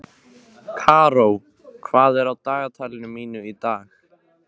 Karó, hvað er á dagatalinu mínu í dag?